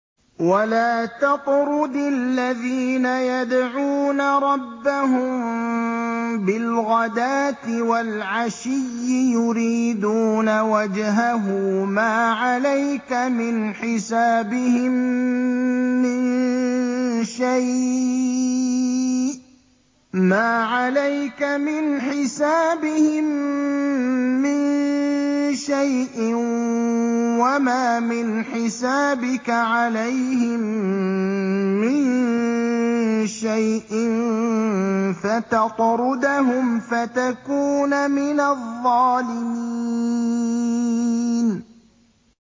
وَلَا تَطْرُدِ الَّذِينَ يَدْعُونَ رَبَّهُم بِالْغَدَاةِ وَالْعَشِيِّ يُرِيدُونَ وَجْهَهُ ۖ مَا عَلَيْكَ مِنْ حِسَابِهِم مِّن شَيْءٍ وَمَا مِنْ حِسَابِكَ عَلَيْهِم مِّن شَيْءٍ فَتَطْرُدَهُمْ فَتَكُونَ مِنَ الظَّالِمِينَ